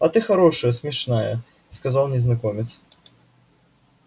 а ты хорошая смешная сказал незнакомец